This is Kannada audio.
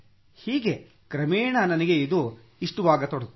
ಹೀಗೆ ಕ್ರಮೇಣ ನನಗೆ ಇದು ಇಷ್ಟವಾಗತೊಡಗಿತು